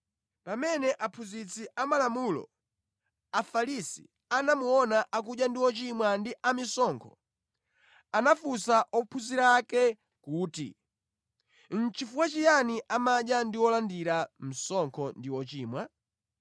Pamene aphunzitsi amalamulo a Afarisi anamuona akudya ndi “ochimwa” ndi amisonkho, anafunsa ophunzira ake kuti, “Chifukwa chiyani amadya ndi olandira msonkho ndi ochimwa?”